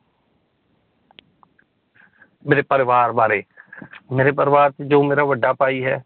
ਮੇਰੇ ਪਰਿਵਾਰ ਬਾਰੇ ਮੇਰੇ ਪਰਿਵਾਰ ਚ ਜੋ ਮੇਰਾ ਵੱਡਾ ਭਾਈ ਹੈ